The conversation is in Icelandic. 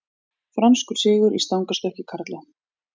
Franskur sigur í stangarstökki karla